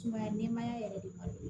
Sumaya nɛmaya yɛrɛ de b'a